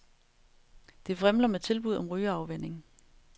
Det vrimler med tilbud om rygeafvænning.